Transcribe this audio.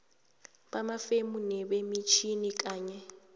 bamafemu nebemitjhini kanye